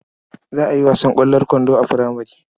Za a yi wasan ƙwallon kwando a furamare.